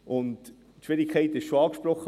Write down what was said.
Die Schwierigkeit wurde bereits angesprochen: